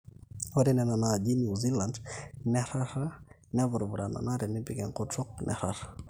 ore nena naaji new zealand nerrarra nepurrupurrana naa tenipik enkutuk nerara